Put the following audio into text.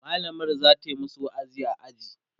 mallamar zata masu wa'azi a aji